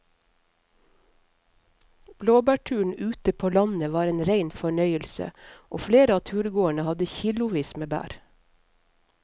Blåbærturen ute på landet var en rein fornøyelse og flere av turgåerene hadde kilosvis med bær.